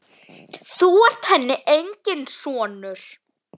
Þú ert henni enginn sonur.